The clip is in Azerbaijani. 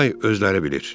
Day özləri bilir.